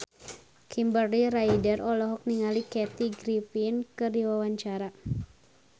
Kimberly Ryder olohok ningali Kathy Griffin keur diwawancara